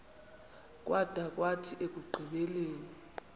kwada kwathi ekugqibeleni